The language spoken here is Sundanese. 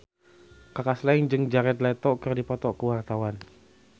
Kaka Slank jeung Jared Leto keur dipoto ku wartawan